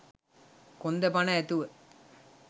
කොන්ද පණ ඇතුව